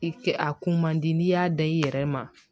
I kɛ a kun man di n'i y'a da i yɛrɛ ma